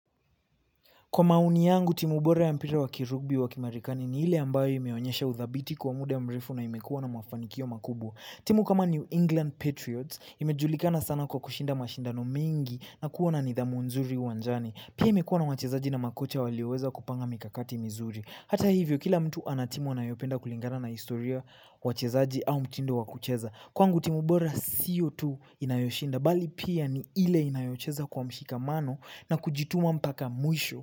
Kwa maoni yangu, timu bora ya mpira wa kirubi wa kimarekani ni ile ambayo imeonyesha uthabiti kwa muda mrefu na imekuwa na mafanikio makubwa. Timu kama New England Patriots imejulikana sana kwa kushinda mashindano mengi na kuwa na nidhamu nzuri uwanjani. Pia imekuwa na wachezaji na makocha walioweza kupanga mikakati vizuri. Hata hivyo, kila mtu ana timu anayopenda kulingana na historia, wachezaji, au mtindo wa kucheza. Kwangu timu bora sio tu inayoshinda, bali pia ni ile inayocheza kwa mshikamano na kujituma mpaka mwisho.